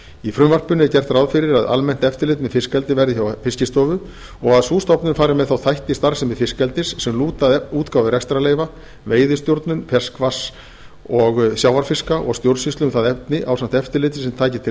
í frumvarpinu er gert ráð fyrir að almennt eftirlit með fiskeldi verði hjá fiskistofu og að sú stofnun fari með þá þætti í starfsemi fiskeldis sem lúta að útgáfu rekstrarleyfa veiðistjórnun ferskvatns og sjávarfiska og stjórnsýslu um það efni ásamt eftirliti sem taki til